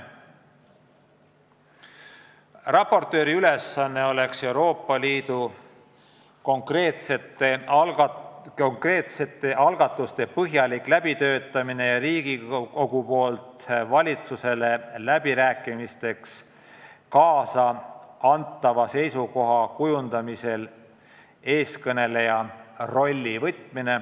Raportööri ülesanne oleks Euroopa Liidu konkreetse algatuse põhjalik läbitöötamine, ka peaks ta täitma Riigikogu poolt valitsusele läbirääkimisteks kaasa antava seisukoha kujundamisel eestkõneleja rolli.